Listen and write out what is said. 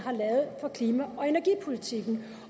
har klima og energipolitikken